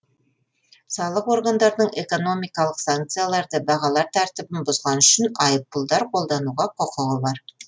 салық органдарының экономикалық санкцияларды бағалар тәртібін бұзғаны үшін айыппұлдар қолдануға құқығы бар